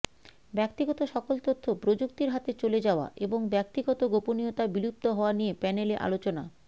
ব্যক্তিগত সকল তথ্য প্রযুক্তির হাতে চলে যাওয়া এবং ব্যক্তিগত গোপনীয়তা বিলুপ্ত হওয়া নিয়ে প্যানেলে আলোচনা